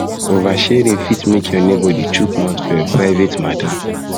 oversharing fit make your neighbour dey chook mouth for chook mouth for your private matter